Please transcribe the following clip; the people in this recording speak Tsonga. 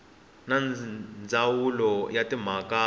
na ndzawulo ya timhaka ta